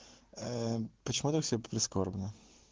ээ почему так все прискорбно